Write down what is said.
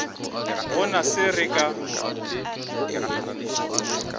go na se re ka